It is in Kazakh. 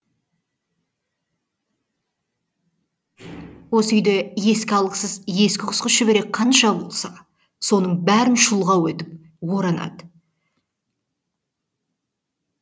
осы үйде іске алғысыз ескі құсқы шүберек қанша болса соның бәрін шұлғау етіп оранады